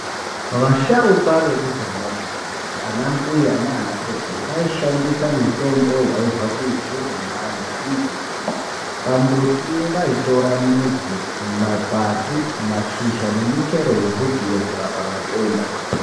Vasharuka vekudhaya, anambuya naanasekuru, vaishandisa mitombo yaibva kuzvirimwa nekumbuti. Pambuti vaitora midzi, makwati ,mashisha nemichero yembutiyo kurapa matenda.